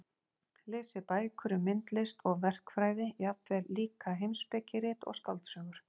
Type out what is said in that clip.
Lesið bækur um myndlist og verkfræði, jafnvel líka heimspekirit og skáldsögur.